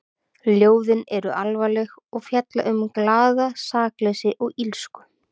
Ljóðin eru alvarleg og fjalla um glatað sakleysi og illsku.